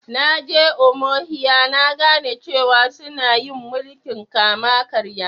Na je Umuahia na gane cewa sunna yin mulki'n kama-karya.